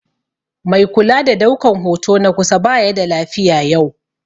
Mai kula da daukan hoto na kusa baya da lafiya yau